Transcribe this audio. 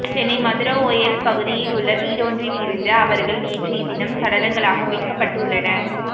சென்னை மதுரவோயல் பகுதியில் உள்ள வீடொன்றில் இருந்து அவர்கள் நேற்றைய தினம் சடலங்களாக மீட்கப்பட்டுள்ளனர்